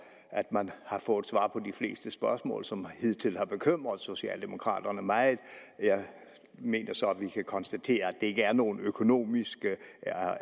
at man har fået svar på de fleste spørgsmål som hidtil har bekymret socialdemokraterne meget jeg mener så at vi kan konstatere at ikke er nogen økonomiske